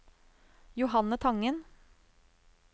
Johanne Tangen